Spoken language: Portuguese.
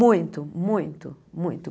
Muito, muito, muito.